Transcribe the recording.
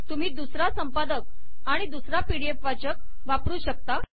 तुम्ही दुसरा संपादक आणि दुसरा पीडीएफ वाचक वापरू शकता